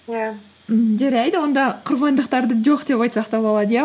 иә ммм жарайды онда құрбандықтарды жоқ деп айтсақ та болады иә